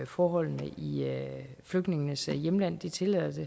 forholdene i flygtningenes hjemlande tillader